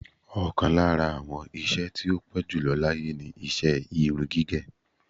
Ọ̀kan lára àwọn nṣe tí ó ti pẹ́ jùlọ láyé ni iṣẹ́ irun gígẹ̀.